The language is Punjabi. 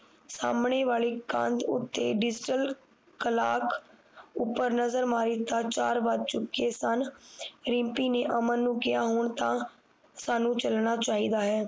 ਸਾਹਮਣੇ ਵਾਲੀ ਕੰਧ ਉਤੇ ਡਿਸਲ ਕਲਾਕ ਉਪਰ ਨਜ਼ਰ ਮਾਰੀ ਤਾ ਚਾਰ ਵੱਜ ਚੁਕੇ ਸਨ ਰਿਮਪੀ ਨੇ ਅਮਨ ਨੂੰ ਕਿਹਾ ਹੁਣ ਤਾ ਸਾਨੂ ਚਲਣਾ ਚਾਹੀਦਾ ਹੈ